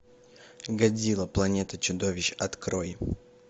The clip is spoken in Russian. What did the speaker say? годзилла планета чудовищ открой